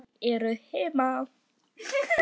Jú, jú. þau eru heima.